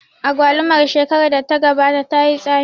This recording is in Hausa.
Agwalumar shekarar da ta gabata tayi tsami